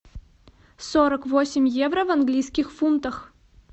сорок восемь евро в английских фунтах